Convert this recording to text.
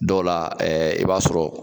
Dɔw la i b'a sɔrɔ.